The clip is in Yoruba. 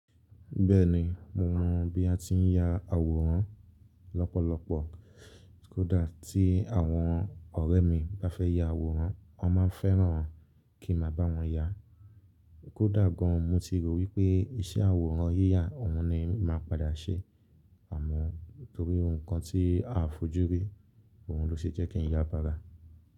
Bẹ́ẹ̀ ni, mo mọ bí a ti ń ya àwòrán lọ́pọ̀lọpọ̀. Kódà tí àwọn ọ̀rẹ́ mi bá fẹ́ ya àwòrán, wọ́n máa ń fẹ́ràn kí mo bá wọn ya. Kódà gan, mo ti rò wípé iṣẹ́ àwòrán yíyà òun ni màá padà ṣe àmọ́ torí ohun kan tí a fojú rí, òun ló ṣe jẹ́ kí n ya bára.